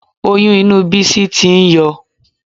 Oyún inú Bísí tí ń yọ